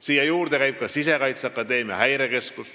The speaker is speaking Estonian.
Siia juurde käib ka Sisekaitseakadeemia ja häirekeskus.